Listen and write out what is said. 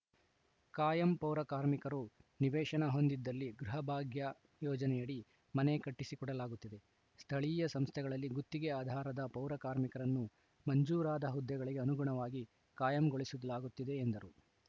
ಕಾಯಂ ಪೌರಕಾರ್ಮಿಕರು ನಿವೇಶನ ಹೊಂದಿದ್ದಲ್ಲಿ ಗೃಹಭಾಗ್ಯ ಯೋಜನೆಯಡಿ ಮನೆ ಕಟ್ಟಿಸಿಕೊಡಲಾಗುತ್ತಿದೆ ಸ್ಥಳೀಯ ಸಂಸ್ಥೆಗಳಲ್ಲಿ ಗುತ್ತಿಗೆ ಆಧಾರದ ಪೌರಕಾರ್ಮಿಕರನ್ನು ಮಂಜೂರಾದ ಹುದ್ದೆಗಳಿಗೆ ಅನುಗುಣವಾಗಿ ಕಾಯಂಗೊಳಿಸಲಾಗುತ್ತಿದೆ ಎಂದರು